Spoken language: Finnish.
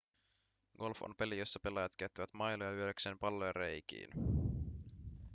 golf on peli jossa pelaajat käyttävät mailoja lyödäkseen palloja reikiin